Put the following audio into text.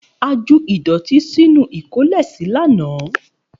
A ju ìdọ̀tí sínú ìkólèsí lánàá.